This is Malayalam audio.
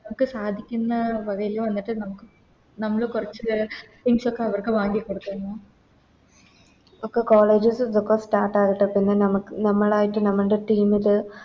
ഒക്കെ സാധിക്കുന്ന വേലേല് മറ്റെ നമുക്ക് നമ്മള് കൊറച്ച് ഒക്കെ അവർക്ക് വാങ്ങിക്കൊടുക്കണം ഒക്കെ Colleges ഒക്കെ Start ആവട്ടെ പിന്നെ നമുക്ക് നമ്മളായിറ്റ് നമ്മൾടെ Team ല്